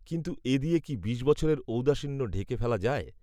কিন্তু এ দিয়ে কি বিশ বছরের ঔদাসীন্য ঢেকে ফেলা যায়